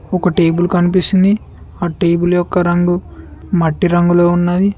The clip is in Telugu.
ఒక టేబుల్ కనిపిస్తుంది ఆ టేబుల్ యొక్క రంగు మట్టి రంగులో ఉన్నది.